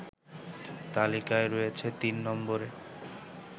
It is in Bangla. তালিকায় রয়েছে তিন নম্বরে